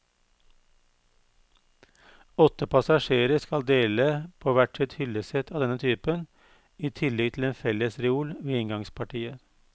Åtte passasjerer skal dele på hvert sitt hyllesett av denne typen, i tillegg til en fellesreol ved inngangspartiet.